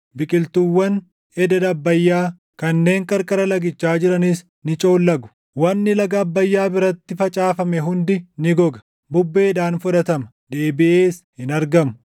biqiltuuwwan ededa Abbayyaa, kanneen qarqara lagichaa jiranis ni coollagu. Wanni laga Abbayyaa biratti facaafame hundi ni goga; bubbeedhaan fudhatama; deebiʼees hin argamu.